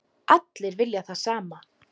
Allir vilja það sama.